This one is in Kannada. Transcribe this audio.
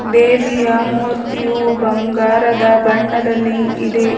ದೇವಿಯ ಮೂರ್ತಿಯು ಬಂಗಾರದ ಬಣ್ಣದಲ್ಲಿ ಇದೆ.